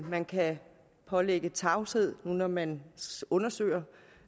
man kan pålægge tavshedspligt når man undersøger